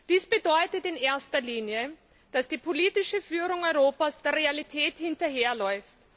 Dies bedeutet in erster Linie, dass die politische Führung Europas der Realität hinterherläuft.